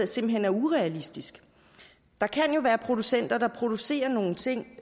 simpelt hen er urealistisk der kan jo være en producent der producerer nogle ting